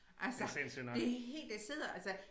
Altså det helt det sidder altså